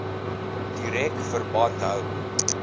direk verband hou